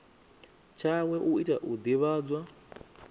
tshawe u tea u divhadzwa